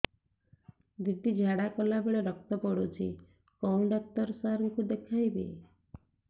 ଦିଦି ଝାଡ଼ା କଲା ବେଳେ ରକ୍ତ ପଡୁଛି କଉଁ ଡକ୍ଟର ସାର କୁ ଦଖାଇବି